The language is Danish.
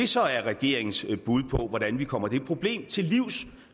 så er regeringens bud på hvordan vi kommer det problem til livs